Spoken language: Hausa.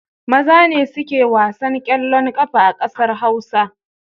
Maza ne suke wasan ƙeallon ƙafa a ƙasar Hausa.